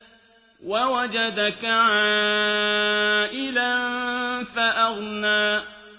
وَوَجَدَكَ عَائِلًا فَأَغْنَىٰ